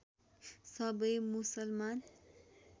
सबै मुसलमान